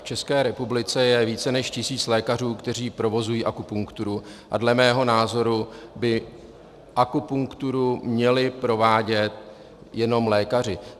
V České republice je více než tisíc lékařů, kteří provozují akupunkturu, a dle mého názoru by akupunkturu měli provádět jenom lékaři.